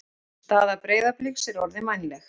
Staða Breiðabliks er orðin vænleg